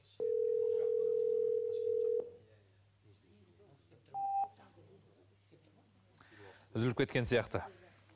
үзіліп кеткен сияқты